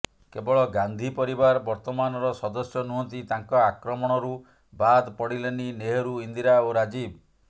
କେବଳ ଗାନ୍ଧି ପରିବାର ବର୍ତ୍ତମାନର ସଦସ୍ୟ ନୁହନ୍ତି ତାଙ୍କ ଆକ୍ରମଣରୁ ବାଦ ପଡ଼ିଲେନି ନେହେରୁ ଇନ୍ଦିରା ଓ ରାଜୀବ